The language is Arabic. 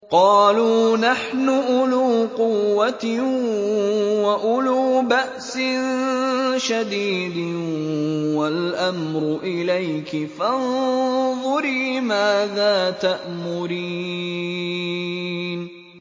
قَالُوا نَحْنُ أُولُو قُوَّةٍ وَأُولُو بَأْسٍ شَدِيدٍ وَالْأَمْرُ إِلَيْكِ فَانظُرِي مَاذَا تَأْمُرِينَ